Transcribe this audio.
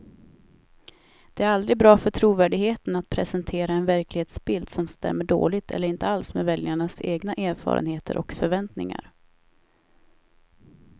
Det är aldrig bra för trovärdigheten att presentera en verklighetsbild som stämmer dåligt eller inte alls med väljarnas egna erfarenheter och förväntningar.